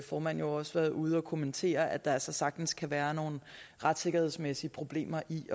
formand jo også være ude at kommentere at der altså sagtens kan være nogle retssikkerhedsmæssige problemer i